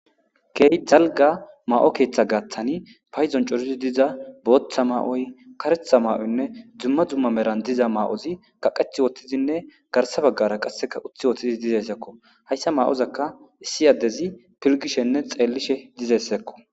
keey dalga ma7o keeththa gaaththani payzon coruzi diza booththa maa7oy karetha maa7oynne dzumma dzumma meran diza ma7ozi kaqeth wotthidinne garsa baggara qasseka uthi woththizi dizeyssekko hayssa ma7ozakka issi addezi pilgishenne xeellishe dizessekko